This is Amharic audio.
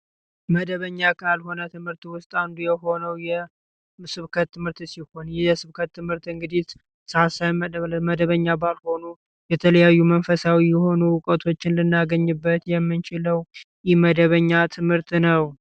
መደበኛ ካልሆነ ትምህርት ውስጥ አንዱ የሆነው የስብከት ትምህርት ሲሆን፤ የስብከት ትምህርት ሰአት ሳይመደብለት መደበኛ ባልሆኑ የተለያዩ መንፈሳዊ የሆኑ እውቀቶችን ልናገኝበት የምንችለው ኢመደበኛ ትምህርት ነው።